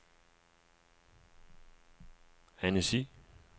Annecy